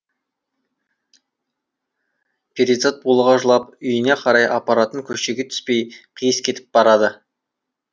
перизат булыға жылап үйіне қарай апаратын көшеге түспей қиыс кетіп барады